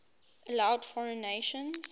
allowed foreign nations